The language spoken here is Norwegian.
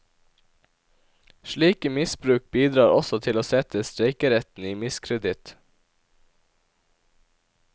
Slike misbruk bidrar også til å sette streikeretten i miskreditt.